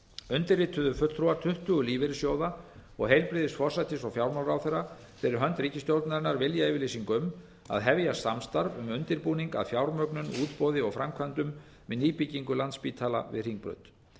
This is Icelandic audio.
undirrituðu fulltrúar tuttugu lífeyrissjóða og heilbrigðis forsætis og fjármálaráðherrar fyrir hönd ríkisstjórnarinnar viljayfirlýsingu um að hefja samstarf um undirbúning að fjármögnun útboði og framkvæmdum við nýbyggingu landspítala við hringbraut